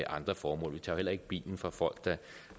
andre formål vi tager jo heller ikke bilen fra folk der